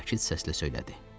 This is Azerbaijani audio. Sakit səslə söylədi: